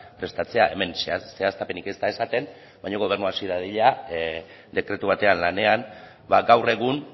prestatzea hemen zehaztapenik ez da esaten baina gobernua hasi dadila dekretu batean lanean gaur egun